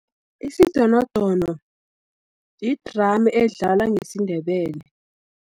Isidonodono, yi-drum edlala ngesindebele.